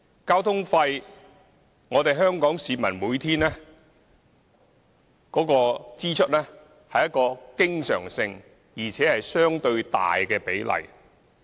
交通費是香港市民每天的經常性支出，而且佔支出相對大的比例。